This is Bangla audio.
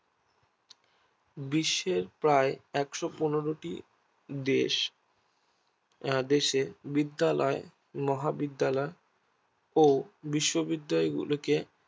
বিশ্বের প্রায় একশো পনেরোটি দেশ আহ দেশে বিদ্যালয় মহা বিদ্যালয় ও বিশ্ববিদ্যালয় গুলোকে